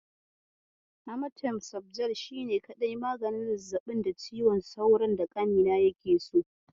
Amatem sofjel shine kaɗai maganin zazzaɓin cizon sauron da ƙanina yake so.